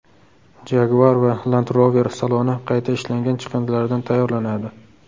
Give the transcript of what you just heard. Jaguar va Land Rover saloni qayta ishlangan chiqindilardan tayyorlanadi.